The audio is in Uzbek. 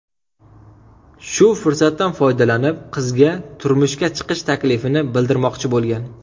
Shu fursatdan foydalanib qizga turmushga chiqish taklifini bildirmoqchi bo‘lgan.